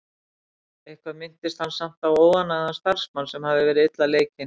Eitthvað minntist hann samt á óánægðan starfsmann, sem hafði verið illa leikinn.